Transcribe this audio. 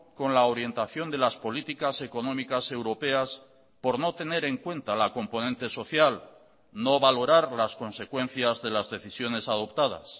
con la orientación de las políticas económicas europeas por no tener en cuenta la componente social no valorar las consecuencias de las decisiones adoptadas